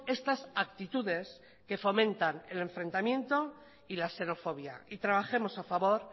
estas actitudes que fomentan el enfrentamiento y la xenofobia y trabajemos a favor